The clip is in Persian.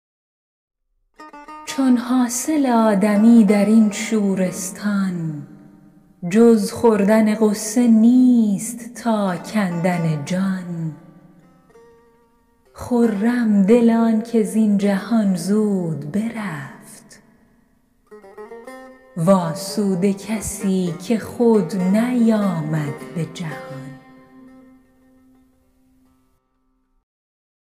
چون حاصل آدمی در این شورستان جز خوردن غصه نیست تا کندن جان خرم دل آنکه زین جهان زود برفت وآسوده کسی که خود نیامد به جهان